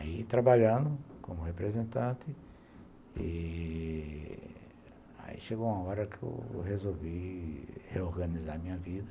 Aí trabalhando como representante, aí chegou uma hora que eu resolvi reorganizar a minha vida.